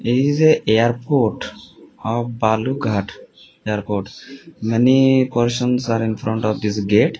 is airport of balughat airport many persons are infront of this gate.